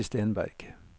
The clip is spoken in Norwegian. Kirsti Stenberg